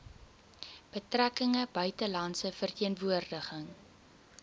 betrekkinge buitelandse verteenwoordiging